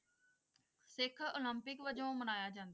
ਸਿੱਖ Olympic ਵਜੋਂ ਮਨਾਇਆ ਜਾਂਦਾ।